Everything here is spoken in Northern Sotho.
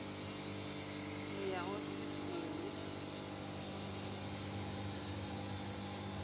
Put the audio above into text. le ya go se senye